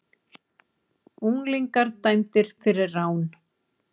Unglingar dæmdir fyrir rán